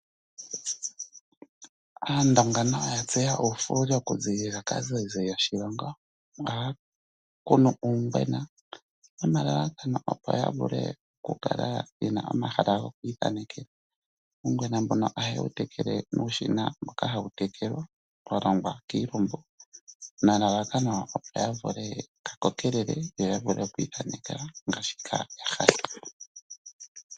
Aandonga nayo ya tseya uufuuli okuziilila kaazayizayi yoshilongo. Ohaya kunu uungwena nomalalakano opo ya vule okukala ye na omahala goku ithanekela. Uungwena mbuno ohaye wu tekele nuushina mboka hawu tekele wa longwa kiilumbu nelelakano, opo ka vule ka kokelele yo ya vule oku ithanekela po ngaashi ya hala.